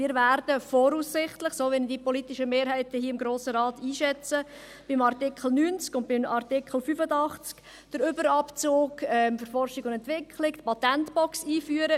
Wir werden voraussichtlich – so wie ich die politischen Mehrheiten hier im Grossen Rat einschätze – bei Artikel 90 und bei Artikel 85 den Überabzug für Forschung und Entwicklung, die Patentbox einführen.